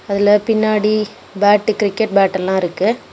இதுல பின்னாடி bat cricket bat எல்லா இருக்கு.